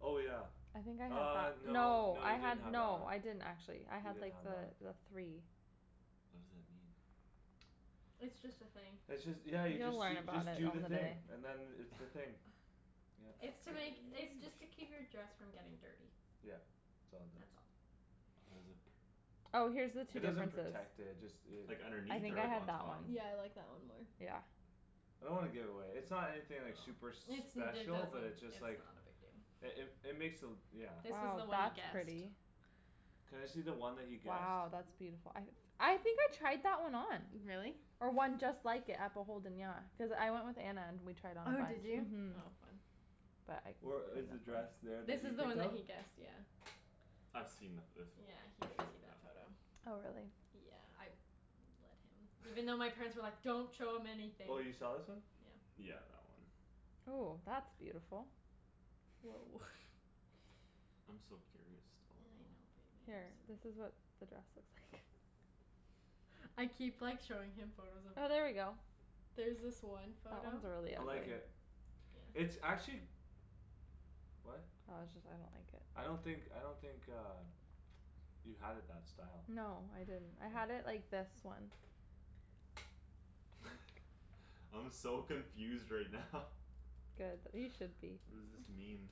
Oh, yeah. I think I had Uh, that. no, No, no, I you didn't had have that one. no I didn't actually. I You had, didn't like, have that one. the, the three. What does that mean? It's just a thing. It's just, yeah, you You'll just, learn you about just it do the on the thing day. and then it's the thing. Yep. It's to make, it's just to keep your dress from getting dirty. Yeah, it's all it does. That's all. How does it pr- Oh, here's the two It doesn't differences. protect it. Just it Like, I underneath think or I like, had on that one. top? Yeah, I like that one more. Yeah. I don't wanna give it away. It's not anything, like, No. super It's, it special but doesn't, it's just it's like not a big deal. It, it, it makes the, yeah. This was the Oh, one he that's guessed. pretty. Can I see the one that he guessed? Wow, that's beautiful. I I think I tried that one on. Really? Or one just like it at Beholden, yeah. Cuz I went with Anna and we tried on a Oh, bunch. did you? Mhm. Oh fun. But I Or couldn't fit is the in dress that one. there This that you is the picked one that out? he guessed, yeah. I've seen the, this one; Yeah, he she's did shown see me that that photo. one. Oh, really? Yeah, I let him. Even though my parents were like, "Don't show him anything." Oh, you saw this one? Yeah. Yeah, that one. Ooh, that's beautiful. Woah. I'm so curious still I though. know, baby, Here, I'm this is sorry. what the dress looks like. I keep, like, showing him photos of Oh, there we go. There's this one That one's photo really I like pretty. it. It's actually What? Oh, it just, I don't think it I don't think, I don't think uh You had it that style. No, I didn't. I had it like this one. I'm so confused right now. Good, you should be. What does this mean?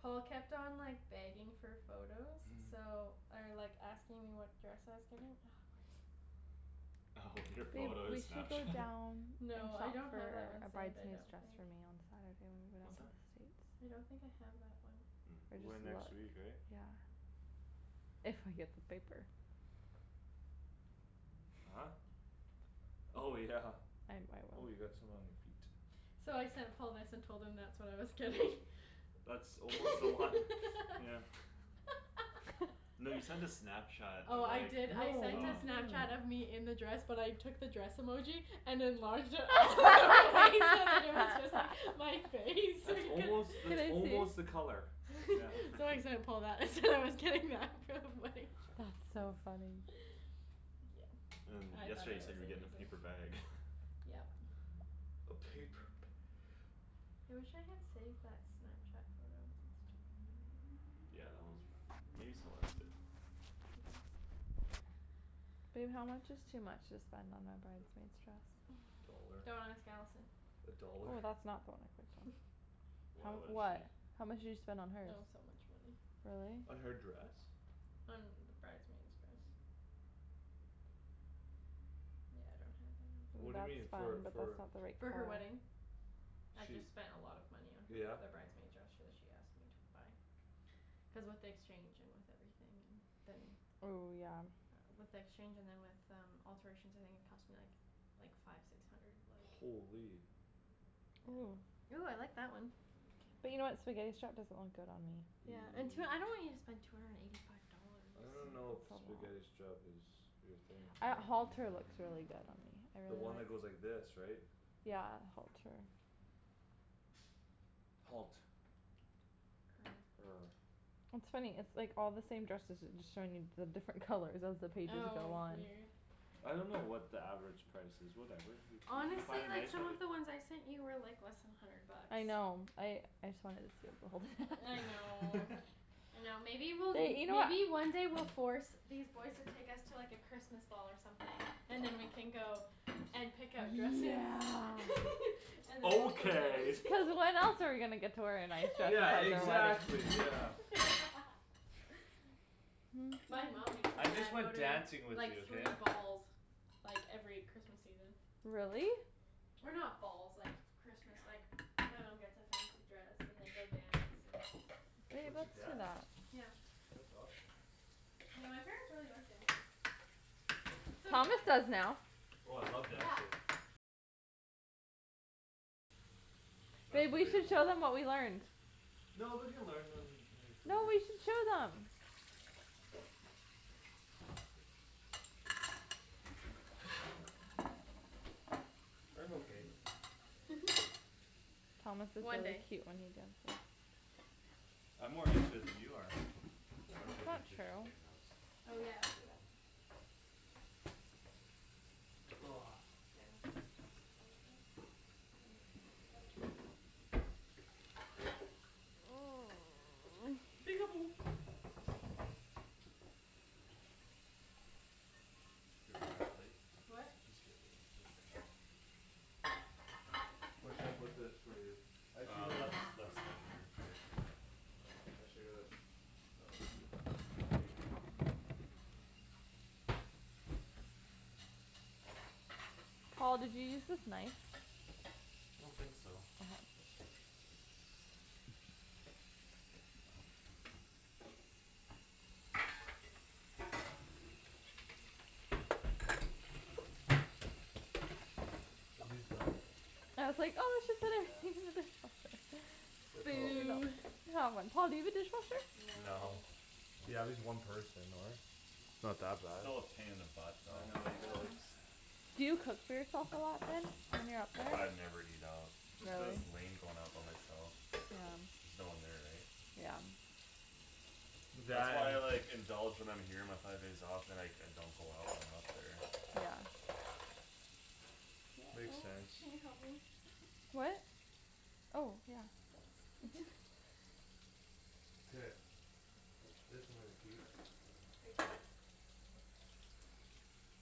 Paul kept on, like, begging for photos so Or, like, asking me what dress I was getting. Oh, your Babe, photo we should go Snapchat? down We should No, I look don't have for that one a saved, I bridesmaid's don't dress think. for me on Saturday when we go down What's to that? the States. I don't think I have that one. Or We're going next week, just look. right? Yeah. If I get the paper. Huh? Oh, yeah. I'm, I Oh, will. you got some on your feet. So I sent Paul this and told him that's what I was getting. That's almost the one, yeah. No, you sent a Snapchat Oh, of, I like, did, I No, what're sent uh you a Snapchat of doing? me in the dress but I took the dress emoji And enlarged it all the way so that it was Just like my face so That's he can't almost, Can that's I almost see? the color. Yeah. So I sent Paul that and said I was getting that. So funny. That's so funny. Yeah, And I thought yesterday I you said was you a were getting a loser. paper bag. Yep. Okay, p- I wish I had saved that Snapchat photo. That's too bad. Yeah, that one's for, maybe Celeste did. Babe, how much is too much to spend on a bridesmaid's dress? A dollar. Don't ask Allison. A dollar. Oh, that's not, don't wanna click on. Why, How, what is she what? How much did you spend on It hers? was so much money. Really? Uh, her dress? On the bridesmaid's dress. Yeah, I don't have it. Ooh, What do you that's mean? For, fun but for that's not the right For her color. wedding. I She, just spent a lot of money on her, yeah? the bridesmaid dress so she asked me to buy. Cuz with the exchange and with everything and then Ooh, yeah. With the exchange and then with um alterations I think it cost me, like Like, five six hundred, like Holy. Ooh. Ooh, I like that one. But you know what, spaghetti strap doesn't look good on me. Yeah, and tw- I don't want you to spend two hundred and eighty five dollars. I don't It's know if spaghetti a lot. strap is your thing. I, halter looks really good on me. I The really one that like goes like this, right? Yeah, halter. Halt. Er Er. It's funny. It's like all the same dresses. It's just showing me the different colors as the pages Oh go on. weird. I don't know what the average price is, whatever. You, you, you find Honestly, a like, nice some one, you of the ones I sent you were, like, less than hundred bucks. I know I, I saw it, it's Beholden. I know. I know, maybe we'll, They, you know what maybe one day we'll force These boys to take us to, like, a Christmas ball or something. And then we can go and Easy. pick out dresses Yeah. And then we'll go Okay. dance. Cuz when else are we gonna get to wear a nice dress Yeah, outside Exactly. our wedding? exactly, yeah. My mom makes my I just dad go like to, dancing like, with you, like, okay? three balls. Like, every Christmas evening. Really? Or not balls, like, Christmas, like My mom gets a fancy dress and they go dance and Babe, What, your that's dad? enough. Yeah. That's awesome. Yeah, my parents really like dancing. So do Thomas I. does now. Oh, I love Yeah. dancing. That's Babe, we should debatable. show them what we learned. No, we can learn them, like, No, later. we should show them. I'm okay. Thomas is One really day. cute when he dances. I'm more into it than you are. I'm gonna That's put not these dishes true. away and then just Oh, yeah, I'll do that. And, like, take it out. Get rid of that plate. What? Just get rid of that plate there. Where should I put this for you? I should Uh get left, a left side there. K. I should get a Paul, did you use this knife? I don't think so. Okay. Are you done? I was like, "Oh, we should put our Yeah. thing in the dishwasher." They're probably Boo. Boo. Come on. Paul, do you have a dishwasher? No. No. Yeah, just one person though, right? Not that bad. Still a pain in the butt though. I know, you gotta, like Yeah. Do you cook for yourself a lot then? When you're up there? I never eat out. Just cuz it's Really? lame going out by myself. Yeah. There's no one there, eh? Yeah. That's That why and I, like, indulge when I'm here my five days off and, like, I don't go out when I'm up there. Yeah. Yeah, Makes oh, sense. can you help me? What? Oh, yeah. Thanks. Okay. This I'm gonna keep. Take four.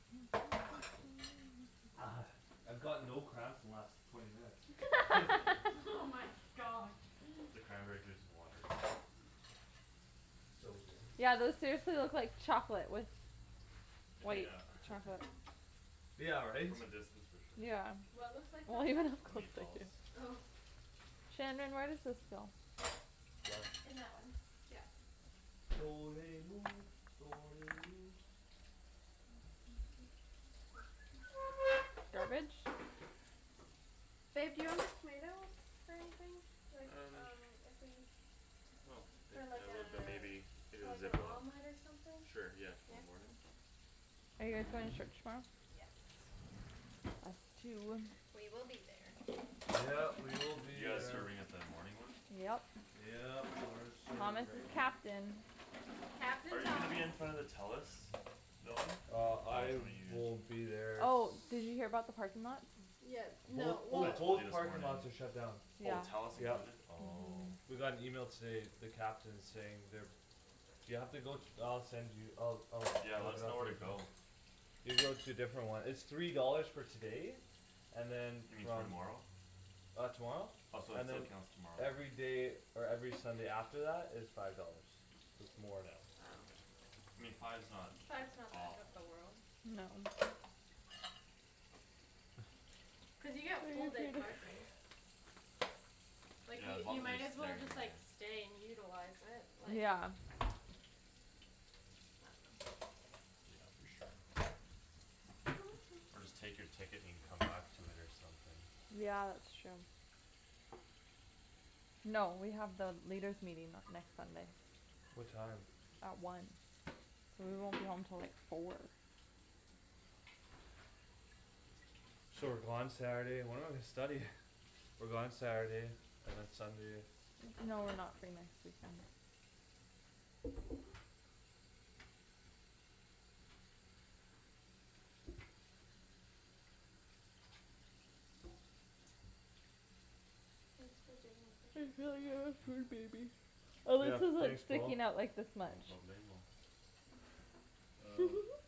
I've got no cramps the last twenty minutes. Oh my gosh. The cranberry juice and water. So good. Yeah, those seriously look like chocolate with White Yeah. chocolate Yeah, right? From a distance for sure. Yeah. What looks like Well, chocolate? even it The cooks like meatballs. you. Oh. Shandryn, where does this go? In that one, yeah. Garbage? Babe, do you want these tomatoes for anything? Like, Um. um if we I don't think For like I a, would but maybe if for it was like an Ziploc. omelet or something? Sure, yeah, Yeah? Okay. tomorrow morning? Are you guys going to church tomorrow? Yes. Us too. We will be there. Yep, we will be You guys there. serving at the morning one? Yep. Yep, we're Thomas is serving. captain. Captain Are you gonna be Thomas in front of the Telus building? Uh Or which I one are you will in? be there s- Oh, did you hear about the parking lots? Yeah, Both, no, oh, I well told you both this parking morning. lots are shut down. Oh, Yeah. Telus Yep. included? Oh. Mhm. We got an email today, the captain saying they're You have to go, I'll send you. I'll, I'll Yeah, let look it us know up where for to you. go. You go to a different one. It's three dollars for today. And then You mean from tomorrow? Uh tomorrow? Oh, so it, And so it then counts tomorrow. Everyday or every Sunday after that is Five dollars. So it's more now. Oh. Okay. I mean, five's not Five's not the end of the awful. world. No. Cuz you get full day parking. Like Yeah, you, as long you as you're might as well staying just, like, there. stay and utilize it, like Yeah. Yeah, for sure. Or just take your ticket and you can come back to it or something. Yeah, it's true. No, we have the leaders' meeting, uh, next Sunday. What time? At one. So we won't be home till like four. So we're gone Saturday and when are we studying? We're gone Saturday, and then Sunday. No, we're not free next weekend. Thanks for doing all the I dishes. feel like I have a food Mhm. baby. Oh, Yeah, this is, like, thanks, Paul. sticking out, like, this No much. problemo. Uh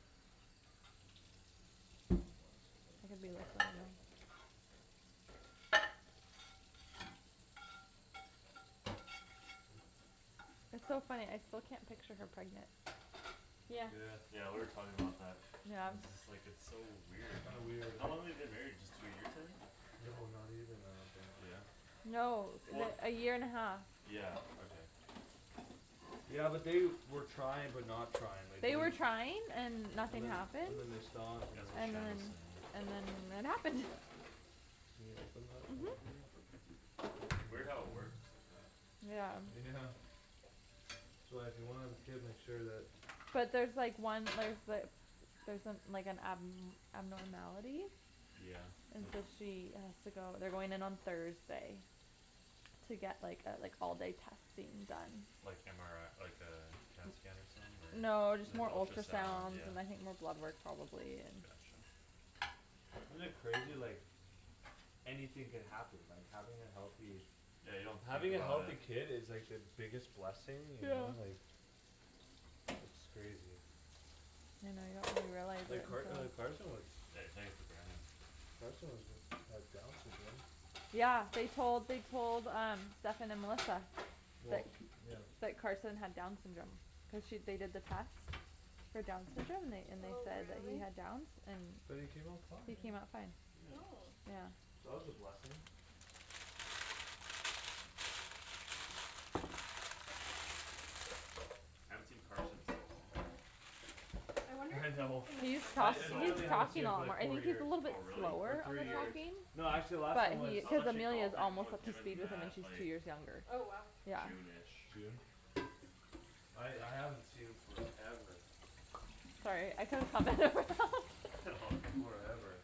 Want a cigarette? I could be like that now. It's so funny, I still can't picture her pregnant. Yeah. Yeah. Yeah, we were talking about that. Yeah. And just, like, it's so weird. Kinda weird, How eh? long they been married just two years, I think? No, not even, I don't think. Yeah? No. Well, The, a year and a half. yeah, okay. Yeah, but they were trying but not trying. Like They they're were trying and And nothing then, happened. and then they stopped and then That's what And Shannon then, said, yeah. and then it happened. Can you open that right Mhm. there? Weird how it works like that. Yeah. Yeah. So uh if you wanna have a kid make sure that But there's like one, like, the Theres some, like an ab- abnormality Yeah. And so she has to go, they're going in on Thursday. To get, like, uh like, all day testing done. Like MRI, like uh, CAT scan or something No, just more or ultrasound, ultrasounds yeah. and I think more blood work probably and Gotcha. Isn't it crazy like Anything could happen, like, having a healthy Yeah, you don't think Having a about healthy it. kid is like the biggest blessing, you Yeah. know? Like It's crazy. You know, you don't really realize Like it Car- uh until Carson was Yeah, you take it for granted. Carson was had Downs Syndrome Yeah, they told, they told um Stephen and Melissa. Well, That, yeah. that Carson had Downs syndrome. So she, they did the test For Downs syndrome and they, and they Oh, said that he really? had Downs and But he came out he fine. came out fine. Yeah. Oh. Yeah. That was a blessing. I haven't seen Carson in so long. I wonder if I he's gonna know. He's I, tal- He's come it, so he's literally haven't seen talking him a for lot more. like I four think he's a years. little bit Oh, really? Or slower on three the years. talking Oh. No, actually last time But he, was I was cuz actually Amelia's golfing almost with up to him and speed with him and Matt, she's like two years younger. Oh, wow. Yeah. June ish. June? I, I haven't seen him forever. Sorry, I could've All good. Forever.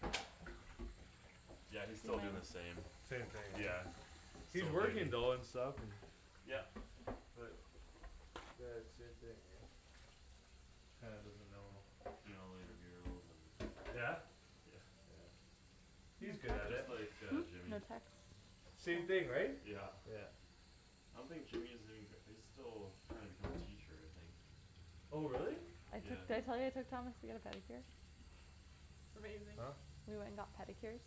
Yeah, he's still doin' the same. Same thing, right? Yeah, He's still working duty. though and stuff and Yep. But Uh same thing, right? Kinda doesn't know Doing all the intramurals and Yeah? Yeah. No He's good at Just it. like uh text? Hmm? Jimmy. No text? Same thing, right? Yeah. Yeah. I don't think Jimmy is even gra- he's still trying to become a teacher, I think. Oh, really? I Yeah. took, did I tell you I took Thomas to get a pedicure? Amazing. Huh? We went and got pedicures?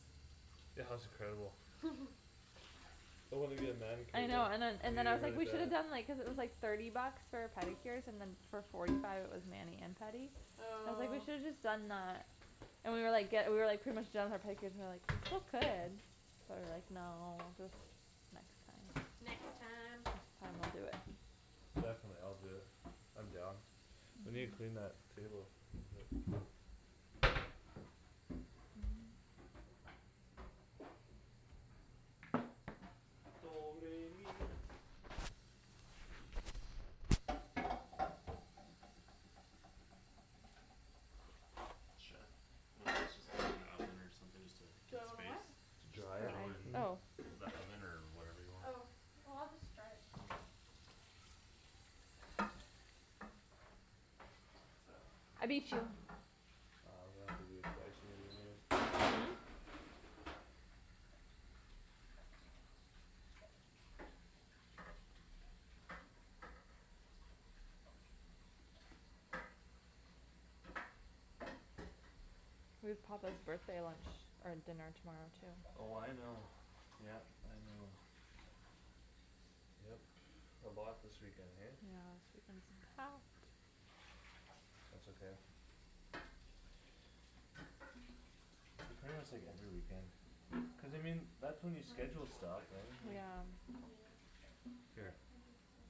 Yeah, that was incredible. I wanna get a manicure I though. know, and then, I and then need I it was like, really we shoulda bad. done, like, cuz it was, like Thirty bucks for pedicures and then For forty five it was mani and pedi. I was like, "We Oh. should've just done uh" And we were, like, ge- we were, like, pretty much done with our pedicures and like We still could, but we were, like, "No, just next time." Next Next time. time I'll do it. Definitely, I'll do it. I'm down. We need to clean that table a little bit. Mhm. Shan, wanna just, just put this in the oven or something just to Do get I wanna what? space? It's Just Dry it? throw it not mine. in Oh. the oven or whatever you want? Oh. Oh, I'll just dry it. I beat you. Oh, that's a good place right in there. We have Papa's birthday lunch, or dinner tomorrow too. Oh, I know. Yep, I know. Yep, a lot this weekend, hey? Yeah, this weekend's packed. That's okay. Might It's pretty try much to like hold her every in weekend. for like another Cuz I half an hour. mean, that's when you What? schedule stuff. Right? And Yeah. Yeah. Here. I guess so.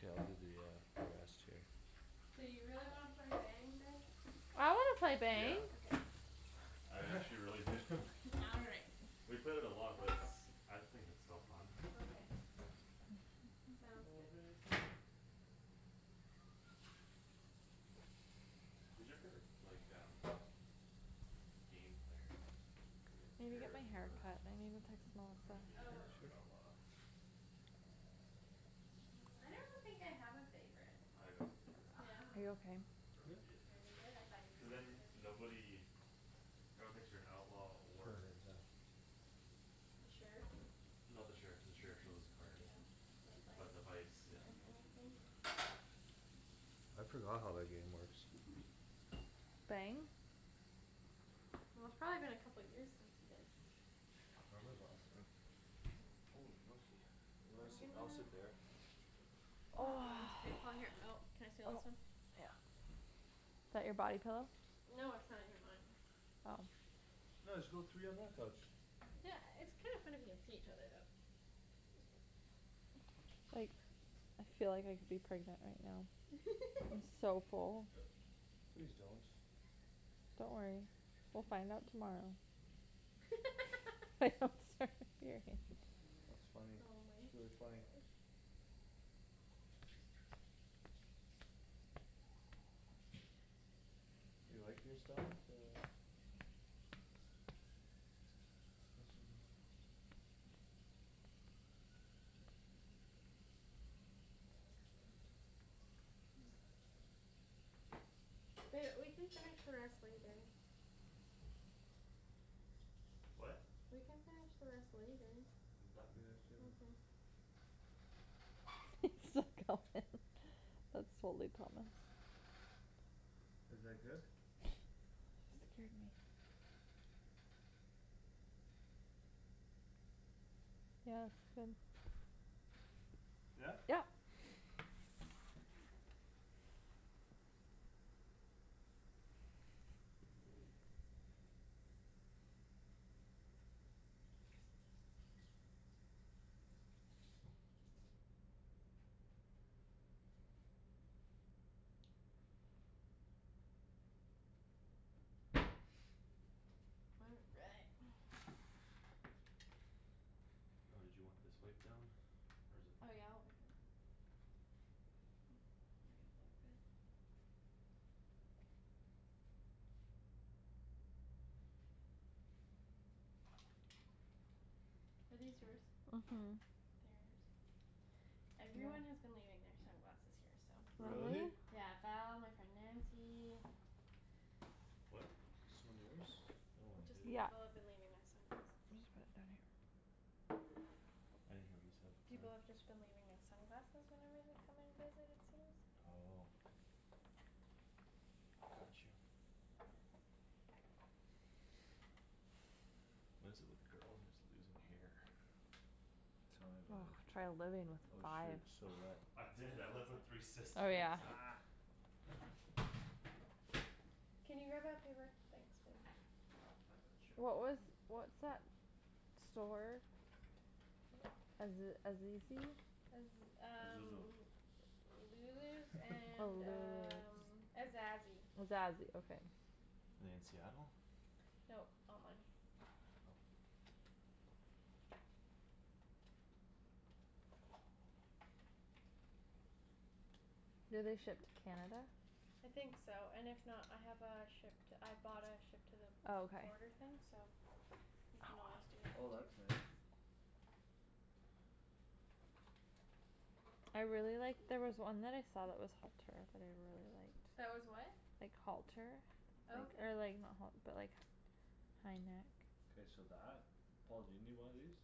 K, I'll do the uh, the rest here. Do you really wanna play Bang, babe? I wanna play Yeah. Bang. Okay. I actually really do. All right. We've played it a lot but it's, I think it's still fun. Okay, sounds good. Who's your favorite, like um Game player? Like Need to get sheriff my hair or cut. I need to text Melissa. Renegade Oh. or Sure. outlaw? I don't think I have a favorite. I got a favorite. Yeah? Like Are you okay? Yeah? Renegade. Renegade? I thought you Cuz were then gonna say that. nobody No one thinks you're an outlaw For or an exam. The sheriff? No, the sheriff, the sheriff shows his card. Yeah, But the the vice. vice, yeah. Oh, anything. I forgot how that game works. Bang? Well, it's probably been a couple years since you guys I can't remember the last time. Oh, monkey. You wanna I'm sit, I'll gonna sit there. K, Paul, here. Oh, can I steal Oh, this one? yeah. Is that your body pillow? No, it's not even mine. Oh. No, just go three on my couch. Yeah, it's kinda funny if you can see each other though. Like, I feel like I could be pregnant right now. I'm so full. Please don't. Don't worry, we'll find out tomorrow. I hope, sorry, here, hey. That's funny. Oh my It's really funny. gosh. You like, you're starting to Ba- we can finish the rest later. What? We can finish the rest later. I'm done. Okay. He's still going. That's totally Thomas. Is like this? Scared me. Yeah, since Yeah? Yep. All right. Oh, did you want this wiped down? Or is it fine? Oh yeah, like that. Bring it Are these yours? Mhm. Theirs? Everyone has been leaving their sunglasses here, so. Really? Really? Yeah. Val, my friend Nancy What? Is this one yours? Oh, I Just, hate it. Yeah. people have been leaving their sunglasses. I'm just about done here. I didn't hear what you said, People sorry. have just been leaving their sunglasses whenever they're coming to visit, it seems. Oh. Got you. What is it with girls and just losing hair? Tell me about Oh, it. try living with Oh, five. shoot, stole that. I Oh, is did, I lived with it? three Oh, sisters. yeah. Can you grab that paper- thanks, babe. I got you. What was, what's that store? Aze- Azizi? Cuz um Lulu's Oh, and Lulu's. um Azazi. Azazi, okay. In Seattle? Nope, online. Do they ship to Canada? I think so, and if not, I have a ship to, I bought a ship to the Oh, okay. border thing so You I can want always us do to that do Oh, that's it too. too. nice. I really liked, there was one that I saw that was halter that I really liked. That was what? Like halter. Oh, okay. Or like, not halt- but like Kinda K, so that? Paul, do you need one of these?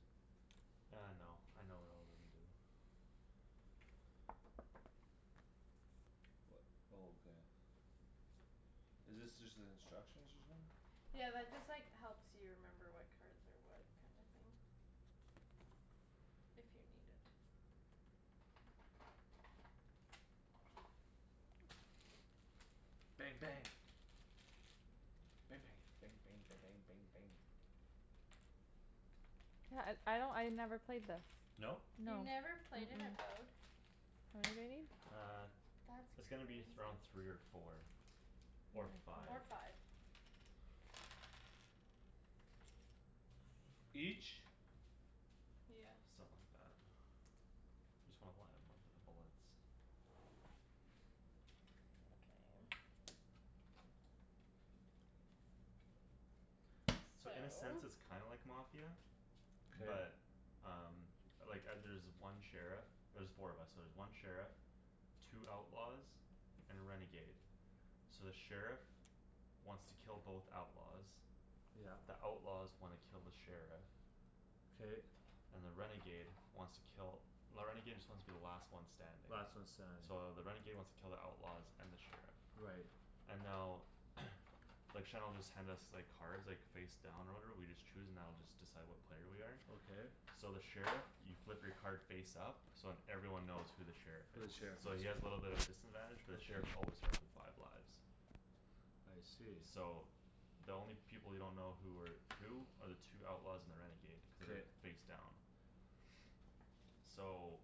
Uh, no, I know what all of them do. Oh, okay. Is this just the instructions or something? Yeah, that just, like, helps you remember what cards are what kinda thing. If you need it. Bang, bang. Ba- bang. Bang bang ba- bang bang bang. Yeah, uh I don't, I never played this. No? No. You Mm- mm never played it at What, baby? Uh, That's it's gonna be crazy. th- around three or four. Or five. Or five. Each? Yeah. Something like that. Just wanna why I'm looking for bullets. Okay. So So in a sense it's kinda like Mafia. K. But um Like uh there's one sheriff. There's four of us so there's one sheriff Two outlaws And a renegade. So the sheriff Wants to kill both outlaws. Yep. The outlaws wanna kill the sheriff. K. And the renegade wants to kill, the renegade just wants to be the last one standing. Last one standing. So the renegade wants to kill the outlaws and the sheriff. Right. And now Like Shan'll just hand us, like, cards, like, face down or whatever, we just choose and that'll just decide what player we are. Okay. So the sheriff, you flip your card face up So then everyone knows who the sheriff Who the is. sheriff So is. he has little bit of a disadvantage but the Okay. sheriff always starts with five lives. I see. So the only people you don't know who are Who are the two outlaws and the renegade. Cuz K. they're face down. So